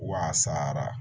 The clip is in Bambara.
Wa sara